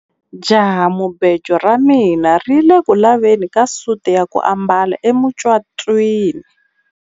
Jahamubejo ra mina ri ku le ku laveni ka suti ya ku ambala emucatwini.